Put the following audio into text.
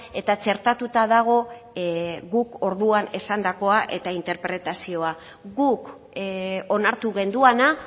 eta txertatuta dago guk orduan esandakoa eta interpretazioa guk onartu genuena